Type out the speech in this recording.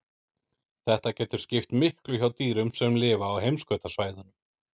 Þetta getur skipt miklu hjá dýrum sem lifa á heimskautasvæðunum.